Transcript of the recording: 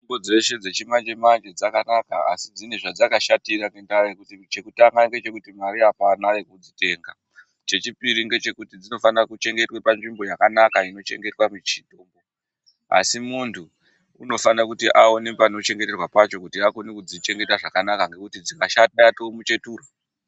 Mitombo dzeshe dzechimanje manje dzakanaka asi dzine zvadzakashatira chekutanga ngechekuti mare apana yekudzitenga chechipiri ngechekuti dzinofane kuchengetea panzvimbo yakanaka inochengetwa muchini asi muntu unofane kuti aone panochengeterwa pacho kuti akone kutodzichengeta zvakanaka ngekuti dzikashata yatomuchetura.